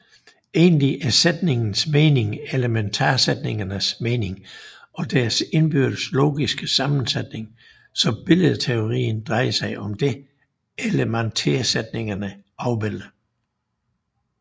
Egentlig er sætningens mening elementarsætningernes mening og deres indbyrdes logiske sammensætning så billedteorien drejer sig om det elementarsætningerne afbilder